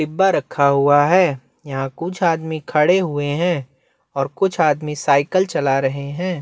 डिब्बा रखा हुआ है यहाँ कुछ आदमी खड़े हुए है और कुछ आदमी सायकल चला रहे है।